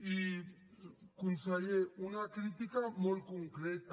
i conseller una crítica molt concreta